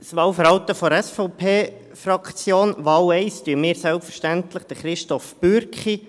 Das Wahlverhalten der SVP-Fraktion: Bei Wahl 1 unterstützen wir selbstverständlich Christoph Bürki.